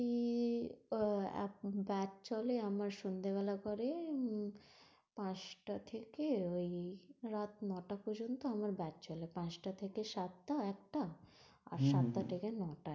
ই আহ এখন batch চলে, আমার সন্ধে বেলা পরে উম পাঁচটা থেকে ওই রাত ন টা পযর্ন্ত আমার batch চলে। পাঁচটা থেকে সাতটা একটা, আর সাতটা থেকে ন টা একটা।